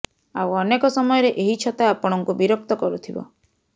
ଆଉ ଅନେକ ସମୟରେ ଏହି ଛତା ଆପଣଙ୍କୁ ବିରକ୍ତ କରୁଥିବ